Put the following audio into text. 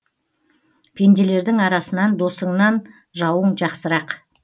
пенделердің арасынан досыңнан жауың жақсырақ